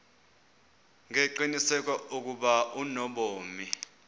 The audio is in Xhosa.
ngengqiniseko ukuba unobomi